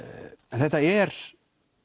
en þetta er